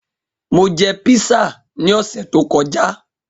Mo jẹ písà ni ọsẹ to kọja.